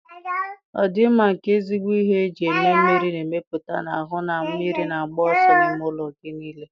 Ọdịmma nke ezigbo ihe eji eme mmiri na-emepụta, na-ahụ na mmiri na-agba ọsọ n'ime ụlọ gị niile